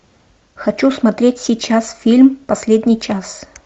хочу смотреть сейчас фильм последний час